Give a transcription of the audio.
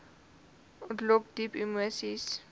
ontlok diep emoseis